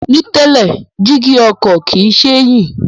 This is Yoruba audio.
Ní tẹ́lẹ̀, jígí ọkọ̀ kìí ṣe é yí